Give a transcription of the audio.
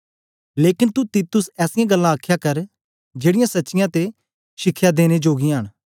लेकन तू तीतुस ऐसीयां गल्लां आखया कर जेड़ीयां सच्चियां ते शिखया देने जोगियां न